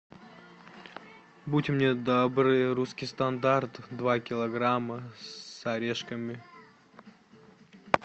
будьте мне добры русский стандарт два килограмма с орешками